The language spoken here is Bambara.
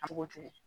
A b'o to yen